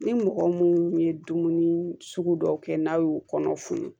Ni mɔgɔ mun ye dumuni sugu dɔw kɛ n'a y'u kɔnɔ funu